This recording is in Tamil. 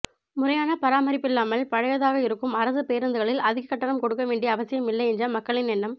முறையான பராமரிப்பில்லாமல் பழையதாக இருக்கும் அரசு பேருந்துகளில் அதிக கட்டணம் கொடுக்க வேண்டிய அவசியம் இல்லை என்ற மக்களின் எண்ணம்